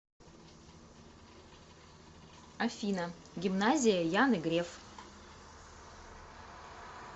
афина гимназия яны греф